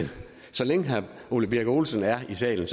så længe herre ole birk olesen er i salen